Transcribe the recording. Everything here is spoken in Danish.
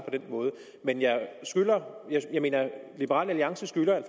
men liberal alliance skylder